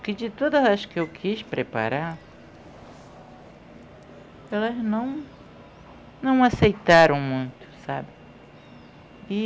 Porque de todas as que eu quis preparar, elas não não aceitaram muito, sabe? E